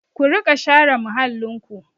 Ku riƙa share muhallinku!